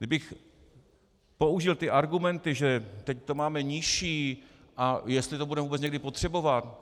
Kdybych použil ty argumenty, že teď to máme nižší a jestli to budeme vůbec někdy potřebovat.